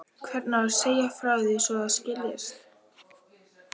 Hvernig á að segja frá því svo það skiljist?